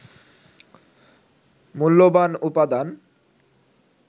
মূল্যবান উপাদান